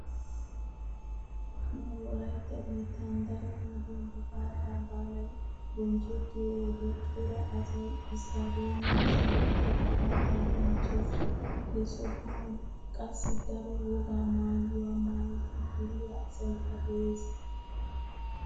Nu wolaytta biittan daro wode gifaata baalay bonchchettiyo wode cora asay isttaadeemiya shiiqidi gifaataa bonchchees. He sohan qassi daro wogaa maayuwa maayidi duriya asaykka dees.